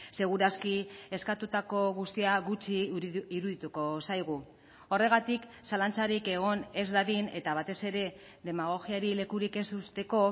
seguraski eskatutako guztia gutxi irudituko zaigu horregatik zalantzarik egon ez dadin eta batez ere demagogiari lekurik ez uzteko